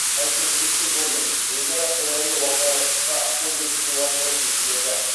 конструктивті жолмен өзара қолайлы уағдаластыққа қол жеткізу арқылы шешіледі